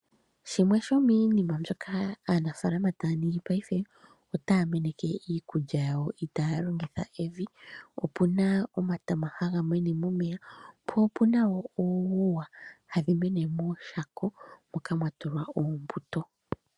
Shimwe shomiinima mbyoka aanafaalama taa ningi paife otaa meneke iikulya yawo itaaya longitha evi. Opuna omatama haga mene momeya po opuna wo uuguwa hadhi mene mooshako moka mwa tulwa oombuto.